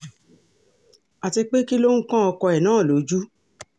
àti pé kí ló ń kan ọkọ ẹ̀ náà lójú